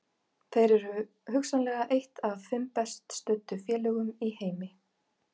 Þeir eru hugsanlega eitt af fimm best studdu félögum í heimi.